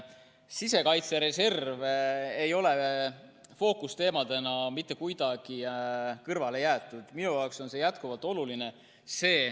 Sisekaitse reservi ei ole fookusteemana mitte kuidagi kõrvale jäetud, minu jaoks on see jätkuvalt oluline.